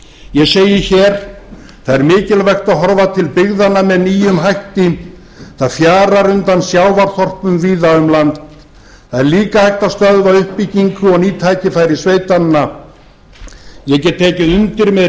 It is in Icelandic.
ég segi hér það er mikilvægt að horfa til byggðanna með nýjum hætti það fjarar undan sjávarþorpum víða um land það er líka hægt að stöðva uppbyggingu og ný tækifæri sveitanna ég get tekið undir með